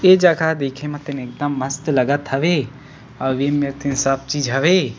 ए जगह देखे म त एकदम मस्त लगत हवे अऊ एमेर ते सब चीज हवे।